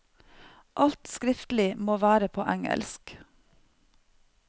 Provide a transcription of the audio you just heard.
Alt skriftlig må være på engelsk.